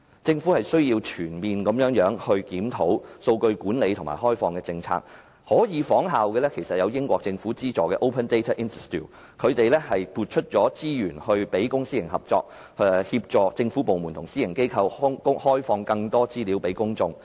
政府須全面檢討數據管理及開放政策，它可以仿效英國政府資助的 Open Data Institute， 撥出資源支持公私營合作，協助政府部門及私人機構向公眾開放更多資料。